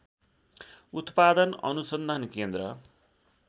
उत्‍पादन अनुसन्धान केन्द्र